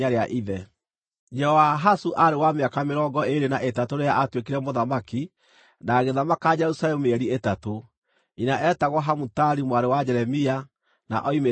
Jehoahazu aarĩ wa mĩaka mĩrongo ĩĩrĩ na ĩtatũ rĩrĩa aatuĩkire mũthamaki, na agĩthamaka Jerusalemu mĩeri ĩtatũ. Nyina eetagwo Hamutali mwarĩ wa Jeremia, na oimĩte Libina.